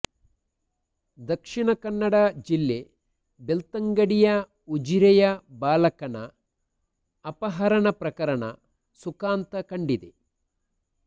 ದಕ್ಷಿಣ ಕನ್ನಡ ಜಿಲ್ಲೆ ಬೆಳ್ತಂಗಡಿಯ ಉಜಿರೆಯ ಬಾಲಕನ ಅಪಹರಣ ಪ್ರಕರಣ ಸುಖಾಂತ ಕಂಡಿದೆ